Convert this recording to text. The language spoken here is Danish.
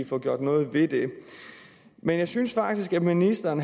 få gjort noget ved det men jeg synes faktisk at ministeren